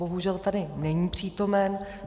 Bohužel tady není přítomen.